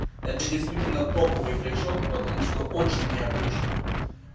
это действительно топовый тречок потому что очень необычно